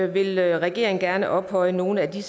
vil regeringen gerne ophøje nogle af de